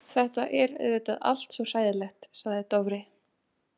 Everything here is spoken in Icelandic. Þetta er auðvitað allt svo hræðilegt, sagði Dofri.